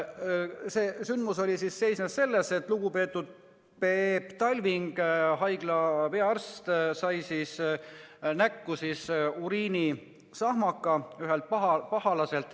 See sündmus seisnes selles, et lugupeetud Peep Talving, haigla peaarst, sai ühelt pahalaselt näkku uriinisahmaka.